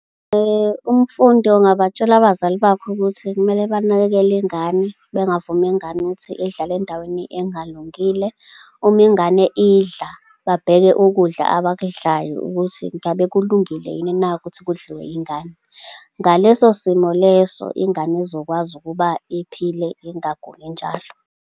Umfundi, ngingabatshela abazali bakhe ukuthi kumele banakekele ingane, bengavumi ingane ukuthi idlale endaweni engalungile. Uma ingane idla, babheke ukudla abakudlayo ukuthi ngabe kulungile yini na ukuthi kudliwe ingane. Ngaleso simo leso, ingane izokwazi ukuba iphile, ingaguli njalo.